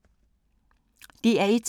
DR1